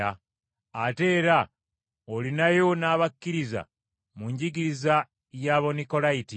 Ate era olinayo n’abakkiririza mu njigiriza y’Abanikolayiti.